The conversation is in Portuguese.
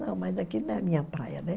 Não, mas aqui não é a minha praia, né?